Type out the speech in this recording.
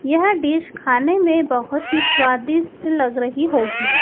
यह डिश खाने में बहोत ही स्वादिष्ट लग रही होगी।